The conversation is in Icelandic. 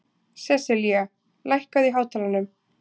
Seselía, lækkaðu í hátalaranum.